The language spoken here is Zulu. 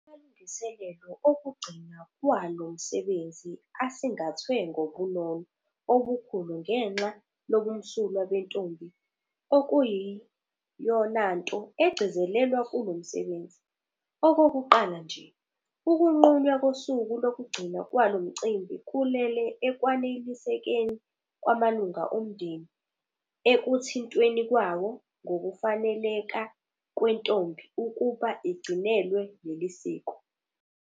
Amalungiselelo okugcinwa kwalo msebenzi asingathwe ngobunono obukhulu ngenxa lobumsulwa bentombi okuyiyonanto egcizelelwayo kulo msebenzi. Okokuqala nje, ukunqunywa kosuku lokugcinwa kwalo mcimbi kulele ekwanelisekeni kwamalunga omndeni ekuthintweni kwawo ngokufaneleka kwentombi ukuba igcinelwe leli siko.